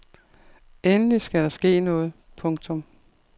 Endelig skal der ske noget. punktum